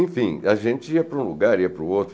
Enfim, a gente ia para um lugar, ia para o outro.